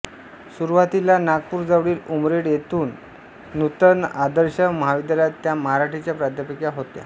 सुरुवातीला नागपूरजवळील उमरेड येथील नूतन आदर्श महाविद्यालयात त्या मराठीच्या प्राध्यापिका होत्या